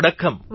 વડક્કમ